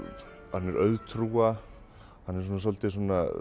hann er auðtrúa hann er svolítið